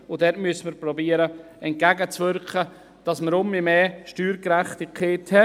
Wir müssen versuchen, hier entgegenzu wirken, damit wir wieder mehr Steuergerechtigkeit haben.